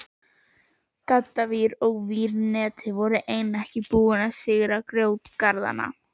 Gaddavír og vírnet voru enn ekki búin að sigra grjótgarðana.